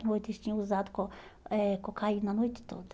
À noite eles tinham usado co eh cocaína a noite toda.